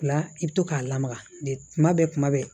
La i bɛ to k'a lamaga de kuma bɛɛ kuma bɛɛ